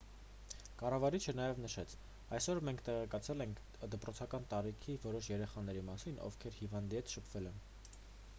կառավարիչը նաև նշեց այսօր մենք տեղեկացել ենք դպրոցական տարիքի որոշ երեխաների մասին ովքեր հիվանդի հետ շփվել են